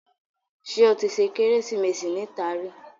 Ṣé o tí ṣe Kérésìmesì níta rí?